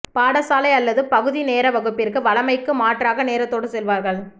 பாடசாலை அல்லது பகுதி நேர வகுப்பிற்கு வழமைக்கு மாற்றமாக நேரத்தோடு செல்வார்கள்